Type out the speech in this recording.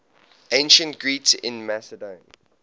ancient greeks in macedon